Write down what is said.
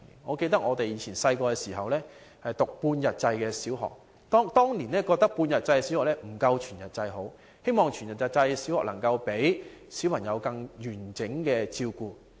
我記得我們小時候上半日制小學，不少市民大眾當年認為半日制小學不及全日制，希望全日制小學能夠讓小朋友得到更全面照顧。